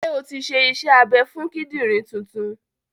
Ṣé o ti ṣe iṣẹ́ abẹ fún kídìrì tuntun?